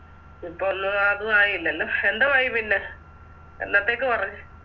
ഇപ്പൊ ഒന്നു അതുവായില്ലല്ലോ എന്തോവയി പിന്നെ എന്നത്തേക്ക് പറഞ്ഞ്